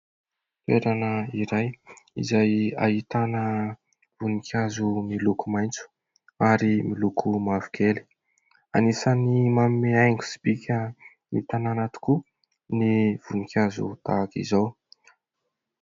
Toerana iray izay ahitana voninkazo miloko maitso ary miloko mavokely. Anisany manome haingo sy bika ny tanàna tokoa ny voninkazo tahaka izao.